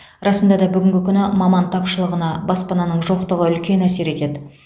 расында да бүгінгі күні маман тапшылығына баспананың жоқтығы үлкен әсер етеді